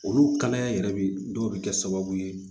Olu kalaya in yɛrɛ bi dɔw be kɛ sababu ye